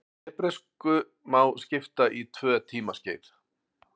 hebresku má skipta í tvö tímaskeið